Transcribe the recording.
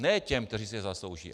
Ne těm, kteří si je zaslouží.